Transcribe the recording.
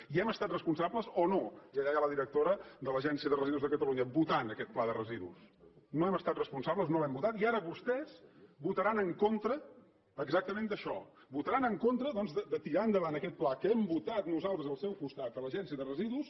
i hem estat responsables o no i allà hi ha la directora de l’agència de residus de catalunya votant aquest pla de residus no hem estat responsables no l’hem votat i ara vostès votaran en contra exactament d’això votaran en contra doncs de tirar endavant aquest pla que hem votat nosaltres al seu costat a l’agència de residus